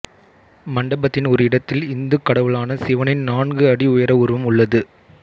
மண்டபத்தின் ஒரு இடத்தில் இந்துக் கடவுளான சிவனின் நான்கு அடி உயர உருவம் உள்ளது